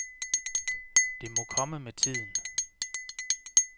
Det må komme med tiden.